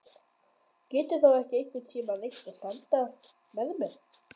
Geturðu þá ekki einhvern tíma reynt að standa með mér?